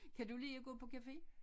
Kan du lide at gå på cafe